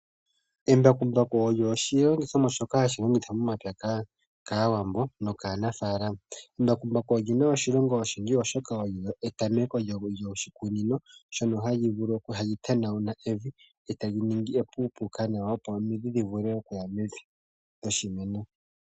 Embakumbaku olyo oshilongithomwa shoka hashilongithwa momapya kaawambo no kaanafaalama. Embakumbaku olyina oshilonga oshindji oshoka olyo etameko lyoshikunino shono hali tanauna evi e tali ningi epuupuka nawa opo omidhi dhi vule okuya mevi lyoshimeno